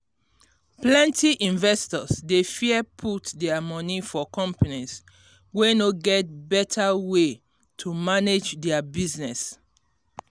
plenty investors dey fear put their moni for companies wey no get better way to manage their business.